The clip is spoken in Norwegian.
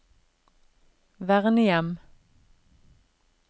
vernehjem